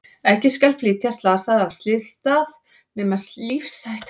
Ekki skal flytja slasaða af slysstað nema lífshætta fylgi því að dveljast á staðnum.